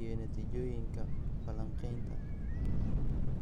iyo natiijooyinka falanqaynta.